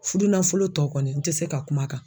Furunafolo tɔ kɔni n tɛ se ka kuma a kan